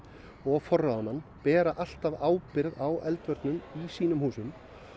og forráðamenn bera alltaf ábyrgð á eldvörnum í sínum húsum